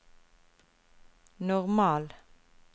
normal